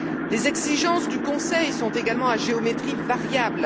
Les exigences du Conseil sont également à géométrie variable.